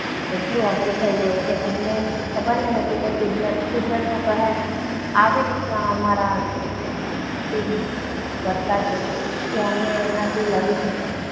એટલું અઘરું થઈ ગયું કે અમને ખબર નહીં હતી. કે કુદરતનો કહહાર આવી રીતના અમારા કે અમે એમનાથી લડી નહીં શકે.